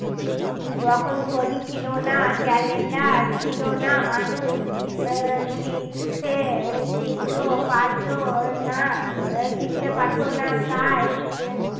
যখন ঘড়ি ছিল না ক্যালেন্ডার ছিল না মানুষ উম শিখছে শিখতেও পারত না শিখতে পারত না তাই